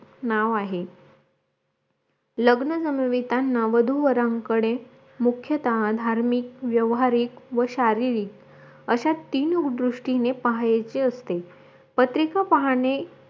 नाव आहे लग्न जमवीता वधू वरांकडे मुख्य धार्मिक व्यवहारिक व शारीरिक अश्या तीन दृष्टीने पाहायचे असते पत्रिका पाहणे